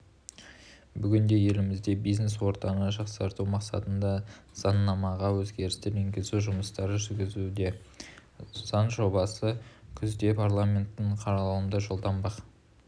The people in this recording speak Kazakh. бүгінде еліміздегі бизнес-ортаны жақсарту мақсатында заңнамаға өзгерістер енгізу жұмыстары жүргізілуде заң жобасы күзде парламенттің қарауына жолданбақ